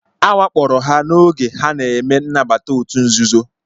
A wakporo ha n'oge ha na-eme nnabata òtù nzuzo